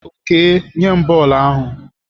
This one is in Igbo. Okey nye m bọọlụ ahụ!